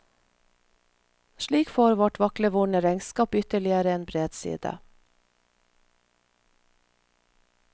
Slik får vårt vaklevorne regnskap ytterligere en bredside.